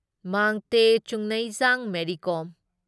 Mangte Chungneijang Mary Kom